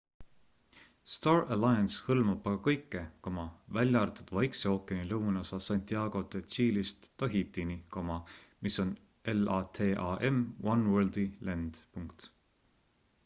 star alliance hõlmab aga kõike välja arvatud vaikse ookeani lõunaosa santiago de chile'ist tahitini mis on latam oneworldi lend